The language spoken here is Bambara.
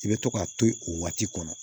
I bɛ to k'a to yen o waati kɔnɔ